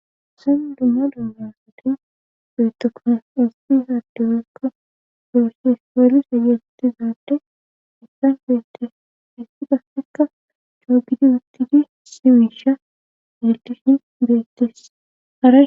Haysan dumma dummasoti beetokones ospi haadduwekka goosh hispoolis ageletizaadde issan feette issi qafekka coobidi uttidi simiisha yeldishin beettesa